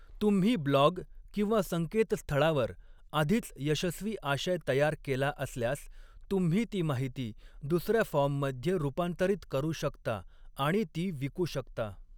तुम्ही ब्लॉग किंवा संकेतस्थळावर आधीच यशस्वी आशय तयार केला असल्यास, तुम्ही ती माहिती दुसर्या फॉर्ममध्ये रूपांतरित करू शकता आणि ती विकू शकता.